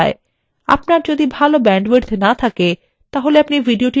আপনার যদি ভাল ব্যান্ডউইডথ না থাকে আপনি ভিডিওটি download করেও দেখতে পারেন